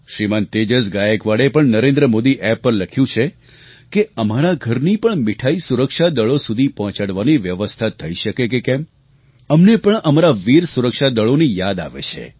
શ્રીમાન તેજસ ગાયકવાડે પણ નરેન્દ્ર મોદી એપ પર લખ્યું છે અમારા ઘરની પણ મિઠાઈ સુરક્ષાદળો સુધી પહોંચાડવાની વ્યવસ્થા થઈ શકે કે કેમ અમને પણ અમારા વીર સુરક્ષાદળોની યાદ આવે છે